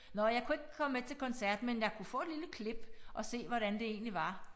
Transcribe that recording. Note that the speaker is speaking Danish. Nåh jeg kunne ikke komme med til koncert men jeg kunne få et lille klip og se hvordan det egentlig var